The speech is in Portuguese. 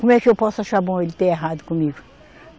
Como é que eu posso achar bom ele ter errado comigo?